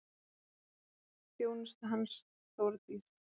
Þjónusta hans, Þórdís